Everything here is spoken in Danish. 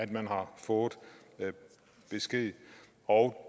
man har fået besked